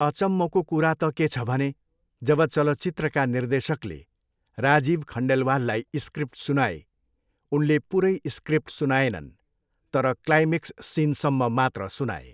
अचम्मको कुरा त के छ भने. जब चलचित्रका निर्देशकले राजीव खण्डेलवाललाई स्क्रिप्ट सुनाए, उनले पुरै स्क्रिप्ट सुनाएनन्, तर क्लाइमेक्स सिनसम्म मात्र सुनाए।